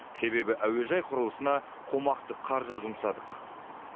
себебі әуежай құрылысына қомақты қаржы жұмсадық